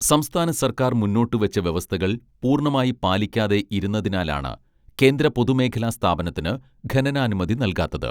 സംസ്ഥാന സർക്കാർ മുന്നോട്ടു വച്ച വ്യവസ്ഥകൾ പൂർണമായി പാലിക്കാതെ ഇരുന്നതിനാലാണ് കേന്ദ്ര പൊതു മേഖലാ സ്ഥാപനത്തിന് ഖനനാനുമതി നൽകാത്തത്